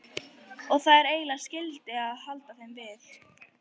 Og það er eiginlega skylda að halda þeim við.